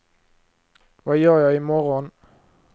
vad gör jag imorgon